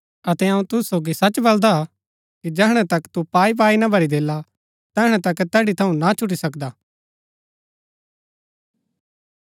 अतै अऊँ तुसु सोगी सच बलदा कि जैहणै तक तू पाई पाई ना भरी देला तैहणै तक तैड़ी थऊँ ना छुटी सकदा